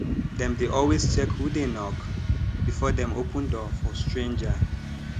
dem dey always check who dey knock before dem open door for stranger